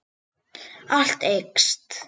Allt eykst.